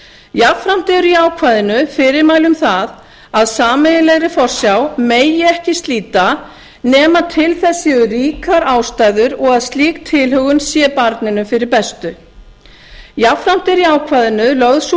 jafnframt eru í ákvæðinu fyrirmæli um að sameiginlegri forsjá megi ekki slíta nema til þess séu ríkar ástæður og að slík tilhögun sé barninu fyrir bestu jafnframt er í ákvæðinu lögð sú